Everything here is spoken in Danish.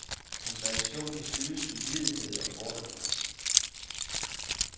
Hans reaktion kan skyldes uvidenhed og fordomme.